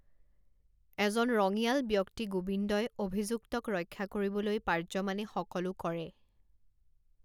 এজন ৰঙিয়াল ব্যক্তি গোবিন্দই অভিযুক্তক ৰক্ষা কৰিবলৈ পাৰ্যমানে সকলো কৰে।